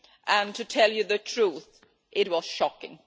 and, to tell you the truth, it was shocking.